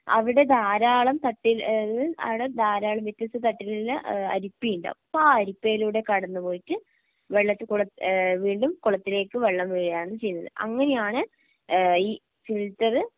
അവിടെ ധാരാളം തട്ടിൽ ഏഹ് അവിടെ ധാരാളം വ്യത്യസ്ത തട്ടിലില് അരിപ്പയുണ്ടാവും അപ്പം ആ അരിപ്പയിലൂടെ കടന്നുപോയിട്ട് വെള്ളത്തിൽ കൂടെ ഏഹ് വീണ്ടും കുളത്തിലേക്ക് വെള്ളം വീഴുകയാണ് ചെയ്യുന്നത് അങ്ങനെയാണ് ഏഹ് ഈ ഫിൽറ്ററ്